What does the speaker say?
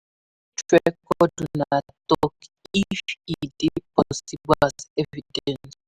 You fit record una talk if e de possible as evidence